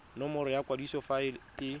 nomoro ya kwadiso fa e